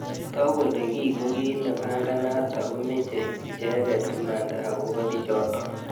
Toku kole kii ko ki nebanganat ako meche icheket imanda akobo bichotok.